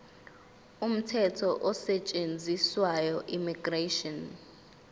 umthetho osetshenziswayo immigration